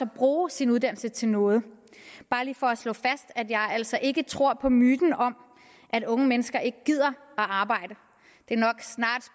bruge sin uddannelse til noget bare lige for at slå fast at jeg altså ikke tror på myten om at unge mennesker ikke gider arbejde det